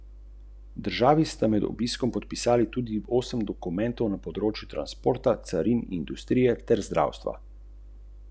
Doma pa je občan opazil, da v torbi nima denarja, okrog dva tisoč evrov, ki jih je prej dvignil na bankomatu ...